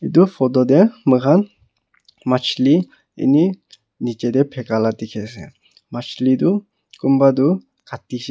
etu photo tey moi khan machhali ene nichi tey phakai la ka dikey ase machhali toh kunba toh kati sha.